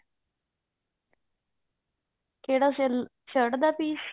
ਕਿਹੜਾ ਸਹੀ shirt ਦਾ piece